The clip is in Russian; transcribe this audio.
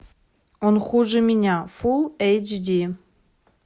он хуже меня фулл эйч ди